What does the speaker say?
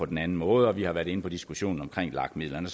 den anden måde og vi har været inde på diskussionen omkring lag midlerne